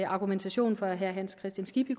argumentationen fra herre hans kristian skibby